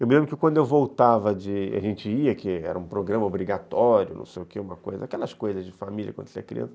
Eu me lembro que quando eu voltava, de a gente ia, que era um programa obrigatório, não sei o que, uma coisa, aquelas coisas de família quando você é criança,